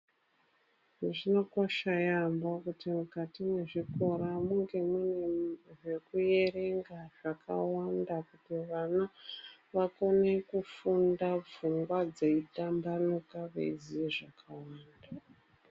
Zvinokosha yaamho kuti mukati mwezvikora munge muine zvekuerenga zvakawanda, kuti vana vakone kufunda pfungwa dzeitambanuka veiziye zvakawanda.